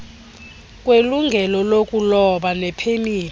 kwelungelo lokuloba nepemithi